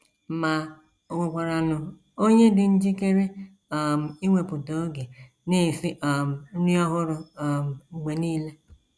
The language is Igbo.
Ma ò nwekwaranụ onye dị njikere um iwepụta oge na - esi um nri ọhụrụ um mgbe nile?